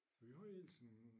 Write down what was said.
Vi har ellers en